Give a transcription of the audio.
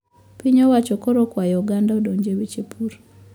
Piny owacho koro okwayo oganda odoje weche pur